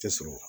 Tɛ sɔrɔ